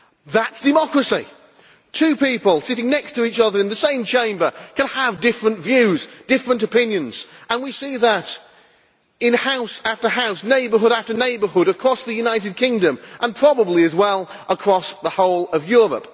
That is democracy two people sitting next to each other in the same Chamber can have different views, different opinions. We see that in house after house, neighbourhood after neighbourhood across the United Kingdom, and probably as well across the whole of Europe.